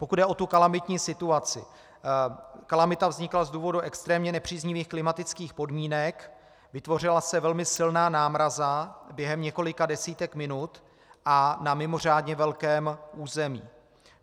Pokud jde o tu kalamitní situaci, kalamita vznikla z důvodů extrémně nepříznivých klimatických podmínek, vytvořila se velmi silná námraza během několika desítek minut a na mimořádně velkém území.